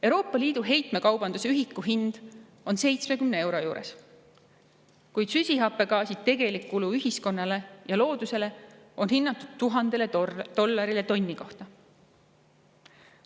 Euroopa Liidu heitmekaubanduse ühiku hind on 70 euro juures, kuid süsihappegaasi tegelikku kulu ühiskonnale ja loodusele on hinnatud 1000 dollarile tonni kohta.